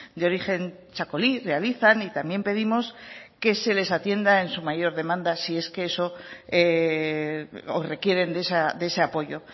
de origen txakoli realizan y también pedimos que se les atienda en su mayor demanda si es que eso o requieren de ese apoyo